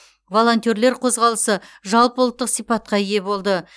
волонтерлер қозғалысы жалпыұлттық сипатқа ие болды